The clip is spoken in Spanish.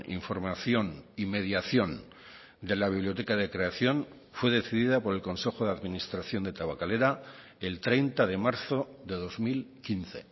información y mediación de la biblioteca de creación fue decidida por el consejo de administración de tabakalera el treinta de marzo de dos mil quince